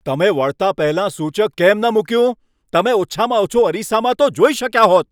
તમે વળતાં પહેલાં સૂચક કેમ ન મૂક્યું? તમે ઓછામાં ઓછું અરીસામાં તો જોઈ શક્યા હોત.